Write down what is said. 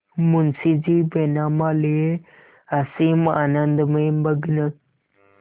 मुंशीजी बैनामा लिये असीम आनंद में मग्न